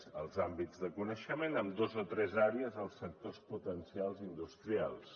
els àmbits de coneixement en dos o tres àrees dels sectors potencials industrials